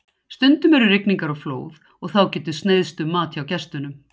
Stundum eru rigningar og flóð og þá getur sneiðst um mat hjá gestunum.